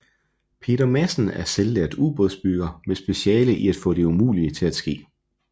Peter Madsen er selvlært ubådsbygger med speciale i at få det umulige til at ske